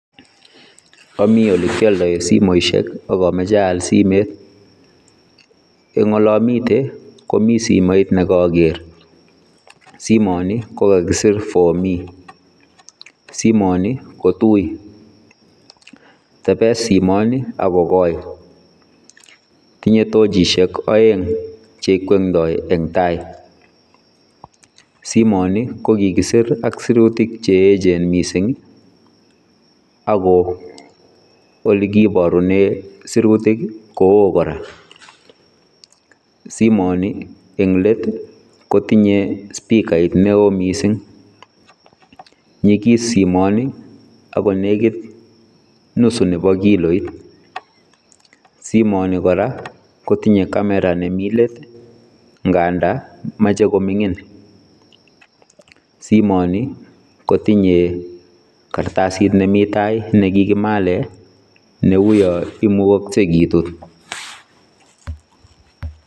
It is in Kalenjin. Amii ole kiyaldaen simoisiek akamachei ayaal simeet , eng ole amiten komii simoit nekager ,simaan ni kokakisiir for me ,simaan nii ko tui tebes simaan nii ako koi tinye tochisheek aeng che igwendai en tai simaan nii ko kikisiir ak sirutiik che eecheen missing ii ako ole kibarunee.n sirutiik ko wooh kora simaan ni eng let ii kotinyei spikait ne wooh missing nyigis simaan nii ako negiit nusu nebo kiloit, simaan nii kora kotinyei kameraa nemii leet ngandaan machei komingiin ,simaan kotinyei kartasiit nekikimaleen ne uu yaan imugasgei kituut.